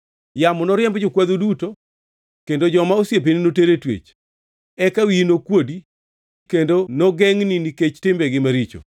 Yamo noriemb jokwadhu duto, kendo joma osiepeni noter e twech. Eka wiyi nokuodi kendo nogengʼni nikech timbegi maricho.